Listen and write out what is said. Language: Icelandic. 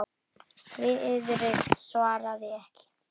Friðrik svaraði ekki.